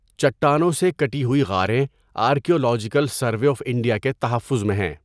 چٹانوں سے کٹی ہوئی غاریں آرکیالوجیکل سروے آف انڈیا کے تحفظ میں ہیں۔